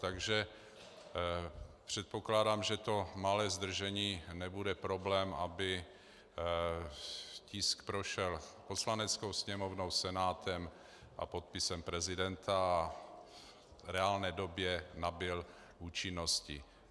Takže předpokládám, že to malé zdržení nebude problém, aby tisk prošel Poslaneckou sněmovnou, Senátem a podpisem prezidenta a v reálné době nabyl účinnosti.